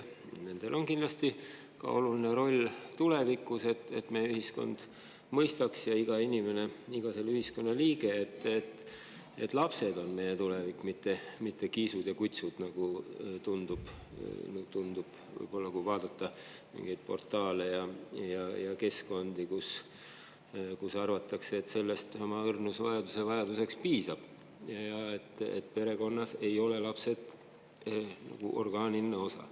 Nendel on kindlasti oluline roll ka tulevikus, et meie ühiskond ja iga inimene, iga selle ühiskonna liige mõistaks, et lapsed on meie tulevik, mitte kiisud ja kutsud, nagu tundub, kui vaadata mingeid portaale ja keskkondi, kus arvatakse, et nendest oma õrnusevajaduse piisab ja et lapsed ei ole enam perekonna orgaaniline osa.